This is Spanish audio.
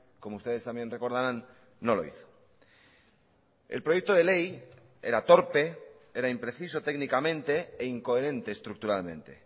como ustedes también recordarán no lo hizo el proyecto de ley era torpe era impreciso técnicamente e incoherente estructuralmente